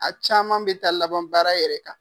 A caman be taa laban baara yɛrɛ la.